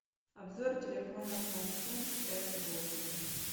обзор телефона самсунг с восемь